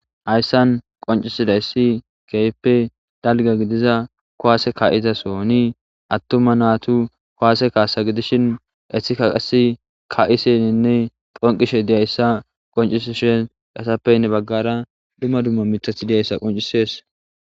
hayssan qoncisiday si keype dalga gidiza kowaase ka7izasoni attuma naatu kuwaase kaasa gidishin esikaqasi ka7iseninne qonqishe diyayssa qoncisishe dasappeynne baggara dhumma dumma mitat diyayssa qoncisees